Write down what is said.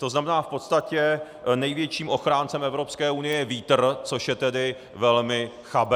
To znamená, v podstatě největším ochráncem Evropské unie je vítr, což je tedy velmi chabé.